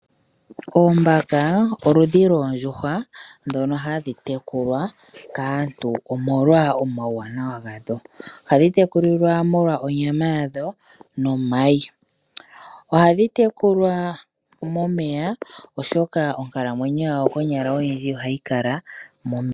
Oombaka oludhi lwoondjuhwa ndhono hadhi tekulwa kaantu omolwa omauwanawa gadho. Ohadhi tekulwa molwa onyama yadho nomayi. Ohadhi tekulwa momeya oshoka onkalamwenyo yadho konyala odhindji ohadhi kala momeya.